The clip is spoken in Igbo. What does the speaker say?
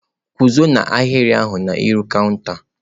Guzo n'ahịrị ahụ n'ihu kanta!.